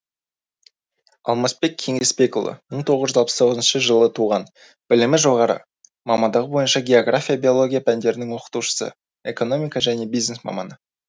алмасбек кеңесбекұлы мың тоғыз жүз алпыс тоғызыншы жылы туған білімі жоғары мамандығы бойынша география биология пәндерінің оқытушысы экономика және бизнес маманы